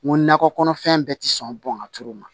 N ko nakɔ kɔnɔfɛn bɛɛ ti sɔn bɔn ka tulu ma